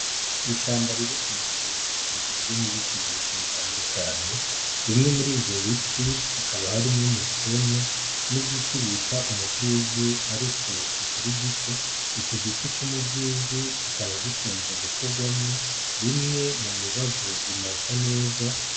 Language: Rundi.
Ishamba riri kumusozi rigizwe n'ibiti vyinshi bitandukanye, bimwe muri ivyo biti hakaba harimwo umusuna n'igiti bita umuvyivyi ariko kikiri gito iki giti c'umuvyivyi kikaba gikunze gukogwamwo bimwe mu mibavu imota neza.